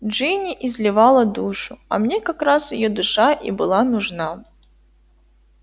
джинни изливала душу а мне как раз её душа и была нужна